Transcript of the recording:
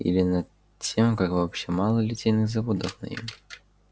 или над тем как вообще мало литейных заводов на юге